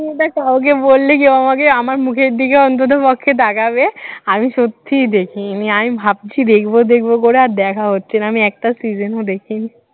এটা কাউকে বললে সে আমাকে আমার মুখের দিকে অন্ততপক্ষে তাকাবে আমি সত্যিই দেখিনি, আমি ভাবছি দেখবো দেখবো করে আর দেখা হচ্ছে না আমি একটা season ও দেখিনি